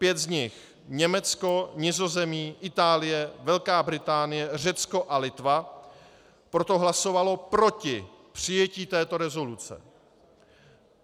Pět z nich - Německo, Nizozemí, Itálie, Velká Británie, Řecko a Litva - proto hlasovalo proti přijetí této rezoluce.